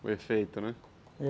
O efeito, né?